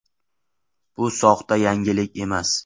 Bu soxta yangilik emas.